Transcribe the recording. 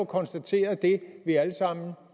konstateret det vi alle sammen